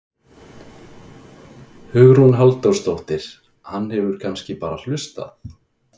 Hugrún Halldórsdóttir: Hann hefur kannski bara hlustað?